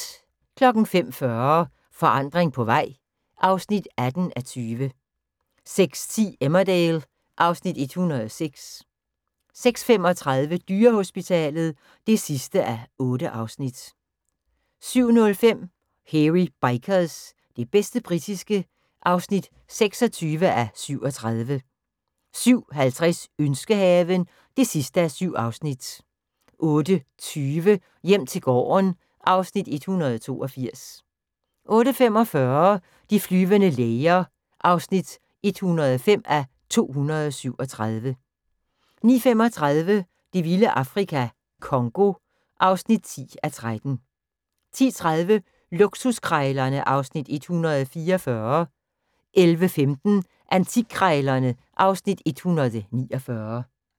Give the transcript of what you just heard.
05:40: Forandring på vej (18:20) 06:10: Emmerdale (Afs. 106) 06:35: Dyrehospitalet (8:8) 07:05: Hairy Bikers – det bedste britiske (26:37) 07:50: Ønskehaven (7:7) 08:20: Hjem til gården (Afs. 182) 08:45: De flyvende læger (105:237) 09:35: Det vilde Afrika - Congo (10:13) 10:30: Luksuskrejlerne (Afs. 144) 11:15: Antikkrejlerne (Afs. 149)